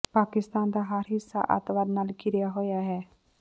ਪਾਕਿਸਤਾਨ ਦਾ ਹਰ ਹਿੱਸਾ ਅੱਤਵਾਦ ਨਾਲ ਘਿਰਿਆ ਹੋਇਆ ਹੈ